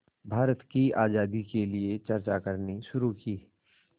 भारत की आज़ादी के लिए चर्चा करनी शुरू की